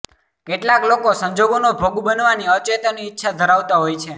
કેટલાક લોકો સંજોગોનો ભોગ બનવાની અચેતન ઈચ્છા ધરાવતા હોય છે